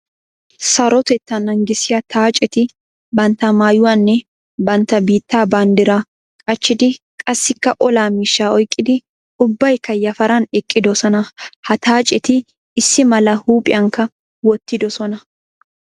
Sarotetta naagissiya xaacetti bantta maayuwanne bantta biitta banddira qacciddi qassikka olaa miishsha oyqqiddi ubbaykka yafaran eqqidosona. Ha xaacetti issi malaa huuphiyankka wottidosonna.